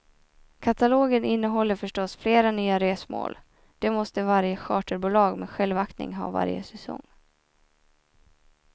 Katalogen innehåller förstås flera nya resmål, det måste varje charterbolag med självaktning ha varje säsong.